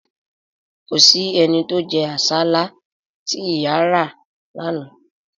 Kò sí ẹni tí ó jẹ́ àsálà tí ìyà ra lánàá